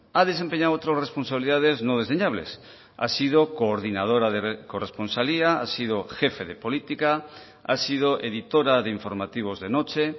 ha desempeñado otras responsabilidades no desdeñables ha sido coordinadora de corresponsalía ha sido jefe de política ha sido editora de informativos de noche